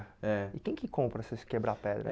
É. E quem que compra essas quebra pedra?